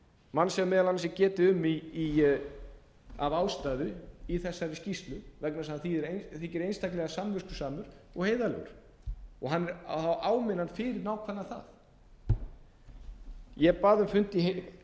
mann sem meðal annars er getið um af ástæðu í þessari skýrslu vegna þess að hann þykir einstaklega samviskusamur og heiðarlegur og það á að áminna hann fyrir nákvæmlega það ég bað um fund í